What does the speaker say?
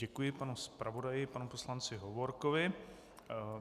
Děkuji panu zpravodaji panu poslanci Hovorkovi.